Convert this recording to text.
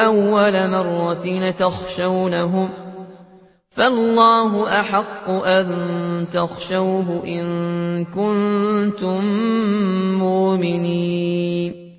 أَوَّلَ مَرَّةٍ ۚ أَتَخْشَوْنَهُمْ ۚ فَاللَّهُ أَحَقُّ أَن تَخْشَوْهُ إِن كُنتُم مُّؤْمِنِينَ